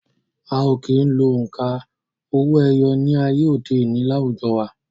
A ò kí ń lo òǹkà owó-ẹyọ ní ayé òde òni láwùjọ wa